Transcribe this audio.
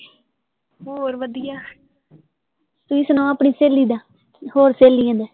ਹੋਰ ਵਧੀਆ, ਤੁਸੀਂ ਸੁਣਾਓਆਪਣੀ ਸਹੇਲੀ ਦਾ, ਹੋਰ ਸਹੇਲੀਆਂ ਦਾ